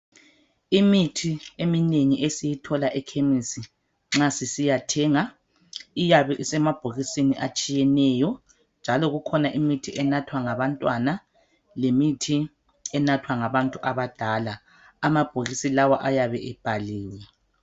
Imithi eminengi esiyithola ekhemisi nxa sisiyathenga iyabe isemabhokisini atshiyeneyo, njalo kukhona imithi enathwa ngabantwana lemithi enathwa ngabantu abadala amabhokisi lawa ayabe ebhaliwe